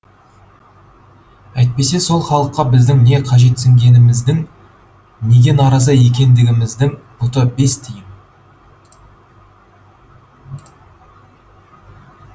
әйтпесе сол халыққа біздің не қажетсінгендігіміздің неге наразы екендігіміздің пұты бес тиын